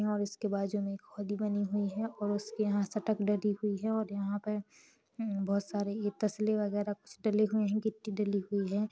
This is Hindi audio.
और उसके बाजू में खोली बनी हुई है और उसके यहाँ सटक डली हुई है और यहाँ पे हम्म बहोत सारे ये तसले वगेराह कुछ डले हुए है गिट्टी डली हुई है।